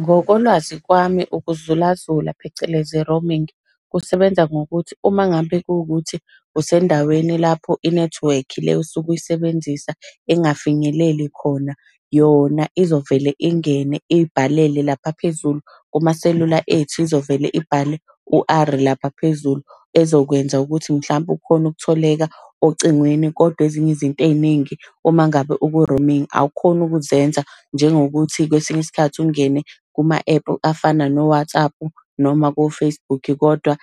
Ngokolwazi kwami ukuzulazula phecelezi, roaming, kusebenza ngokuthi uma ngabe kuwuthi usendaweni lapho inethiwekhi le osuke uyisebenzisa ingafinyeleli khona. Yona izovele ingene iy'bhalele lapha phezulu kumaselula ethu, izovele ibhale u-R lapha phezulu ezokwenza ukuthi mhlampe ukhone ukutholeka ocingweni kodwa ezinye izinto ey'ningi uma ngabe uku-roaming awukhoni ukuzenza. Njengokuthi kwesinye isikhathi ungene kuma-ephu afana no-WhatsApp noma ko-Facebook, kodwa